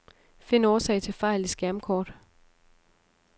Find årsag til fejl i skærmkort.